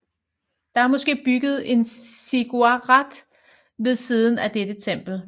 Der er måske bygget en ziggurat ved siden af dette tempel